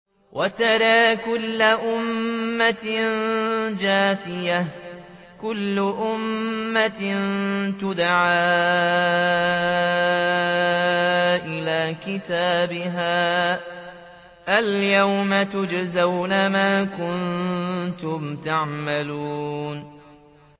وَتَرَىٰ كُلَّ أُمَّةٍ جَاثِيَةً ۚ كُلُّ أُمَّةٍ تُدْعَىٰ إِلَىٰ كِتَابِهَا الْيَوْمَ تُجْزَوْنَ مَا كُنتُمْ تَعْمَلُونَ